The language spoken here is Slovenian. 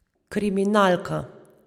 Kriminalka.